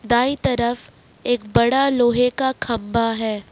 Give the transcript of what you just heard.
दाई तरफ एक बड़ा लोहे का खंबा है।